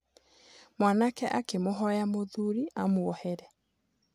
Mwanake akĩmũhoya mũthuri amwohere.